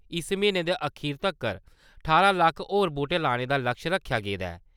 इस म्हीनै दे अखीर तक्कर ठारां लक्ख होर बूह्टें लाने दा लक्ष्य रक्खेआ गेदा ऐ ।